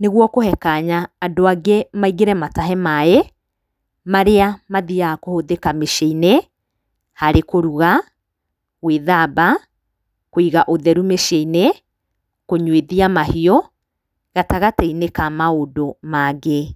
nĩguo kũhe kanya andũ angĩ maingĩre matahe maĩ, marĩa mathiaga kũhũthĩka mĩciĩ-inĩ, harĩ kũruga, gwĩthamba, kũiga ũtheru mĩciĩ-inĩ, kũnyuithia mahiũ, gatagatĩ-inĩ ka maũndũ mangĩ.